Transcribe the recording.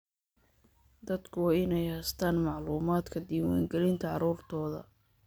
Dadku waa inay haystaan ??macluumaadka diiwaangelinta carruurtooda.